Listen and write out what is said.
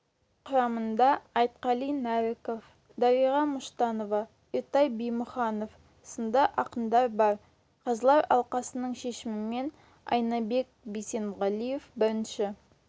құрамында айтқали нәріков дариға мұштанова ертай бимұханов сынды ақындар бар қазылар алқасының шешімімен айнабек бисенғалиев бірінші